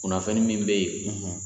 Kunnafoni min bɛ yen